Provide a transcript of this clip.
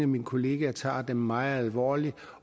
mine kollegaer tager det meget alvorligt